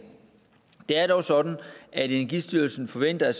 det er dog sådan at energistyrelsen forventer